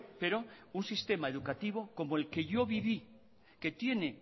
pero un sistema educativo como el que yo viví que tiene